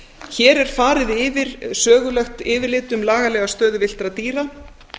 hér er farið yfir sögulegt yfirlit um lagalega stöðu villtra dýra